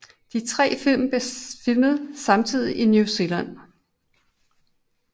De tre film blev filmet samtidig i New Zealand